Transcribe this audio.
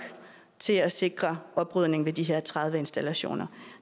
til at sikre oprydning ved de her tredive installationer